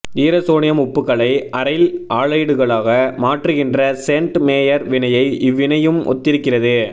ஈரசோனியம் உப்புகளை அரைல் ஆலைடுகளாக மாற்றுகின்ற சேண்ட் மேயர் வினையை இவ்வினையும் ஒத்திருக்கிறது